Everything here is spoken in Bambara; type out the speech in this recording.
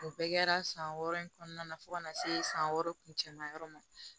O bɛɛ kɛra san wɔɔrɔ in kɔnɔna na fo ka na se san wɔɔrɔ kun cɛma yɔrɔ ma